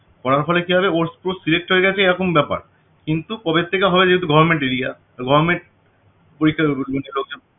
পাওয়ার ফলে কি হবে ওর select হয়ে গেছে এরকম একটা ব্যাপার কিন্তু কবের থেকে হবে যেহেতু government area তো government পরীক্ষার